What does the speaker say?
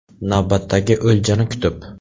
Navbatdagi o‘ljani kutib.